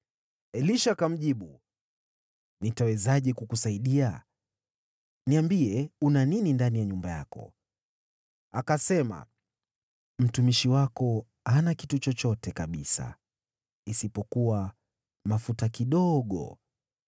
Elisha akamjibu, “Nitawezaje kukusaidia? Niambie, una nini ndani ya nyumba yako?” Akasema, “Mtumishi wako hana kitu chochote kabisa, isipokuwa mafuta kidogo.”